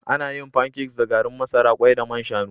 Ana yin pancakes da garin masara, kwai da man shanu